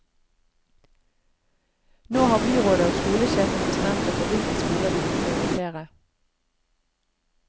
Nå har byrådet og skolesjefen bestemt seg for hvilke skoler de vil prioritere.